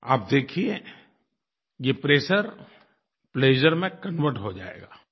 आप देखिए ये प्रेशर प्लेजर में कन्वर्ट हो जाएगा